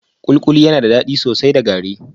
kulikuli ana shan gari